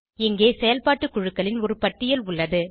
இங்கே செயல்பாட்டு குழுக்களின் ஒரு பட்டியல் உள்ளது